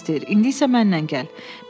İndi isə mənlə gəl.